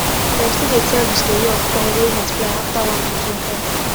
dem still dey tell the story of corn wey multiply after one pikin cry